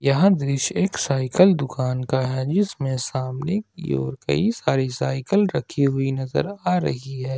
यह दृश्य एक साइकल दुकान का है जिसमे सामने की ओर कई सारी साइकल रखी हुई नज़र आ रही है।